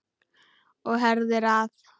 Og herðir að.